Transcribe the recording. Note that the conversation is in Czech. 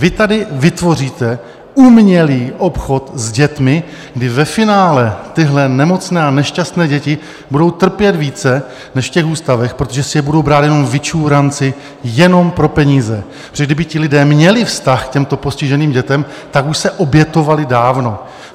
Vy tady vytvoříte umělý obchod s dětmi, kdy ve finále tyhle nemocné a nešťastné děti budou trpět více než v těch ústavech, protože si je budou brát jenom vyčůránci jenom pro peníze, protože kdyby ti lidé měli vztah k těmto postiženým dětem, tak už se obětovali dávno.